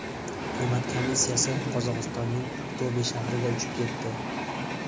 Hukumat komissiyasi Qozog‘istonning Aqto‘be shahriga uchib ketdi.